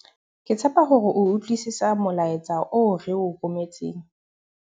ke tshepa hore o utlwisisa molaetsa oo re o rometseng